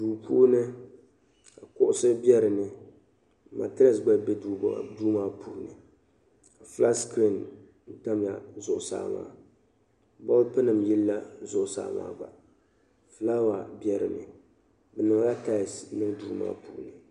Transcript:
Duu puuni kuɣusi be din ni matirɛss gba be duu maa puuni flat sikiriin tamila zuɣusaa maa bɔlpinima yilila zuɣusaa maa gba flaawa be dinni bɛ niŋla tais n-niŋ duu maa puuni